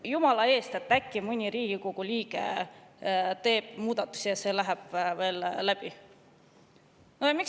Jumala eest, muidu äkki mõni Riigikogu liige teeb muudatuse ja see läheb veel läbi!